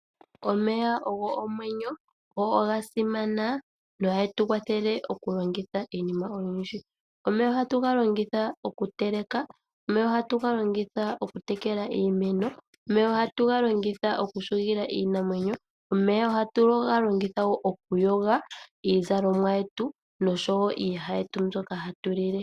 Omeya ogo omwenyo, go oga simana. Oha getu kwathele oku longitha iinima oyindji. Omeya ohatu ga longitha okuteleka, omeya ohatu ga longitha okutekela iimeno. Omeya ohatu ga longitha wo okuhugila iinamwenyo, omeya ohatu ga longitha okuyoga iizalomwa yetu noshowo iiyaha yetu mbyoka hatu lile.